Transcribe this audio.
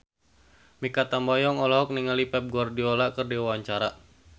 Mikha Tambayong olohok ningali Pep Guardiola keur diwawancara